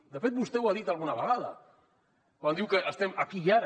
de fet vostè ho ha dit alguna vegada quan diu que estem aquí i ara